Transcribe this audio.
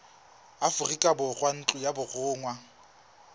aforika borwa ntlo ya borongwa